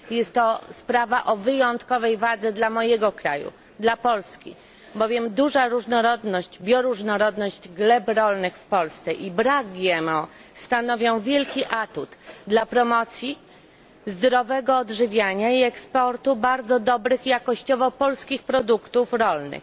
Jest to sprawa wyjątkowej wagi dla mojego kraju, Polski, bowiem duża różnorodność, bioróżnorodność gleb rolnych w Polsce i brak GMO stanowią wielki atut dla promocji zdrowego odżywiania i eksportu bardzo dobrych jakościowo polskich produktów rolnych.